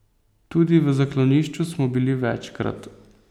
Tudi v zaklonišču smo bili večkrat.